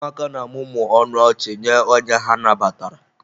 Ụmụaka na-amụmụ ọnụ ọchị nye onye ha nabatara.